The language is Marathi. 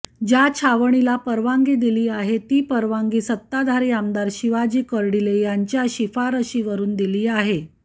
ज्या छावणीला परवानगी दिली आहे ती परवानगी सत्ताधारी आमदार शिवाजी कर्डीले यांच्या शिफारशीवरून दिली आहे